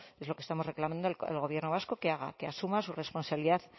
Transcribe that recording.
es lo que estamos reclamando el gobierno vasco que haga que asuma su responsabilidad